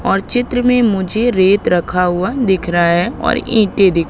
और चित्र में मुझे रेत रखा हुआ दिख रहा है और ईंटे दिख--